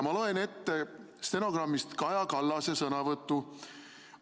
Ma loen ette stenogrammist Kaja Kallase sõnavõtu.